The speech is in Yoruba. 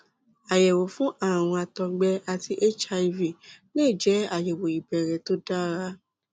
àyẹwò fún ààrùn àtọgbẹ àti hiv lè jẹ àyẹwò ìbẹrẹ tó dára